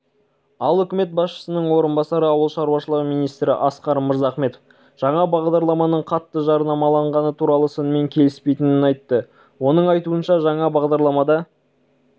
ал үкімет басшысының орынбасары ауыл шаруашылығы министрі асқар мырзахметов жаңа бағдарламаның қатты жарнамаланғаны туралы сынмен келіспейтінін айтты оның айтуынша жаңа бағдарламада